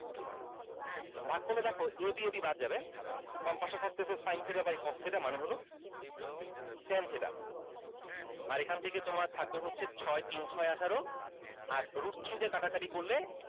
ভাগ করলে দেখো a b a b বাদ যাবে বামপাশে থাকতেছে sin theta by cos theta মানে হলো ten theta আর এখান থেকে তোমার থাকবে হচ্ছে ছয় তিন ছয় আঠারো আর root three দিয়ে কাটাকাটি করলে